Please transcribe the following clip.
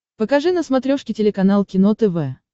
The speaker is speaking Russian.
покажи на смотрешке телеканал кино тв